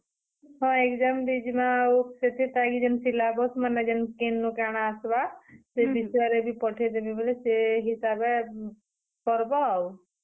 ହଁ, exam ଦେଇଯିମା ଆଉ ସେତେ time ଯେନ୍ syllabus ମାନେଯେନ୍ କେନ କାଣା ଆସବା ସେ ବିଷୟରେ ବି ପଠେଇ ଦେମି ବେଲେ ସେ ହିସାବେ, କରବ ଆଉ।